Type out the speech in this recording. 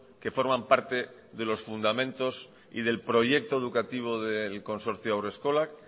que forman parte de los fundamentos y del proyecto educativo del consorcio haurreskolak